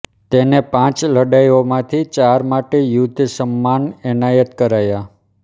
તેને પાંચ લડાઈઓમાંથી ચાર માટે યુદ્ધ સન્માન એનાયત કરાયાં